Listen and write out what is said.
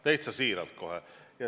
Täitsa siiralt kohe.